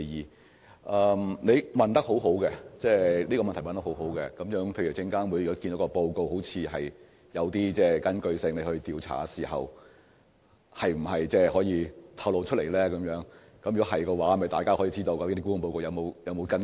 這是一項很好的補充質詢，就是當證監會認為沽空報告看似有據可依而展開調查時，是否可以向外透露，讓大家知道沽空報告是否有所依據。